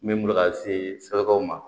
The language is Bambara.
N bɛ bolo ka se sɔrɔkaw ma